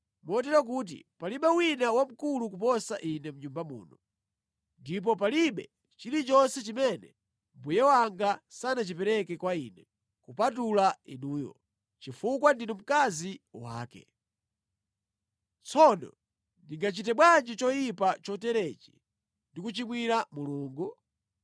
Motero kuti palibe wina wamkulu kuposa ine mʼnyumba muno. Ndipo palibe chilichonse chimene mbuye wanga sanachipereke kwa ine kupatula inuyo, chifukwa ndinu mkazi wake. Tsono ndingachite bwanji choyipa choterechi ndi kuchimwira Mulungu?”